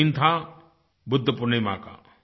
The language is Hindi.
वह दिन था बुद्ध पूर्णिमा का